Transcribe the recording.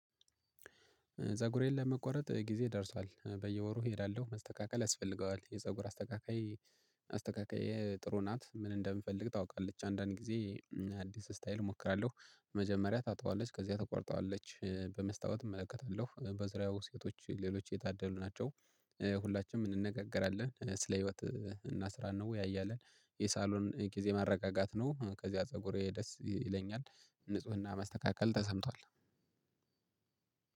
ፀጉሬን ለመቆረጥ ጊዜ ደርሷል በየወሩ እሄዳለሁ መስተካከል ያስፈልገዋል የፀጉር አስተካካይ። አስተካካየ ጥሩ ናት ምን እንደምፈልግ ታውቃለች። አንዳንድ ጊዜ አዲስ ስታይል እሞክራለሁ። መጀመሪያ ታጣዋለች ከዚያ ትቆርጠዋለች። በመስታወት እመለከታለሁ በዙሪያው ሴቶች ሌሎች የታደሉ ናቸው። ሁላችንም እንነጋገራለን ስለ ህይወት እና ስራ እንወያያለን። የሳሎን ጊዜ ማረጋጋት ነው። ከዚያ ፀጉሬ ደስ ይለኛል። ንፁህና መስተካከል ተሰምቷል።